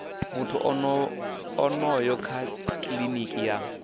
muthu onoyo kha kiliniki ya